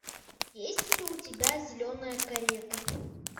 есть ли у тебя зеленая карета